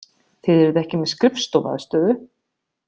Þið eruð ekki með skrifstofuaðstöðu?